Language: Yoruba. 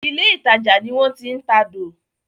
ilé ìtajà ní wón ti ń tadò